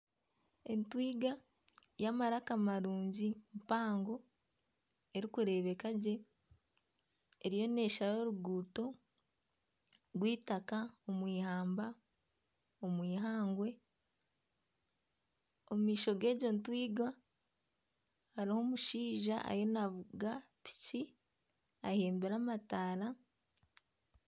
Entwinga y'amaraka marungi mpango erikureebeka gye eriyo neshara oruguuto rw'eitaaka omw’ihamba omw’eihangwe, omu maisho gegyo ntwinga hariho omushaija ariyo navuga piki aheembire amataara.